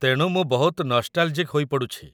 ତେଣୁ ମୁଁ ବହୁତ ନଷ୍ଟାଲ୍‌ଜିକ୍ ହୋଇପଡ଼ୁଛି ।